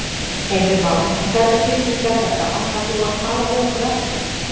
Heimir Már: En hvernig tilfinning er þetta, ætlar þú að tala við okkur á eftir?